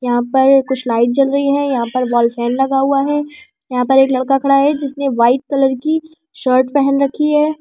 यहां पर कुछ लाइट चल रही है यहां पर वॉल फैन लगा हुआ है यहां पर एक लड़का खड़ा है जिसने वाइट कलर की शर्ट पहन रखी है।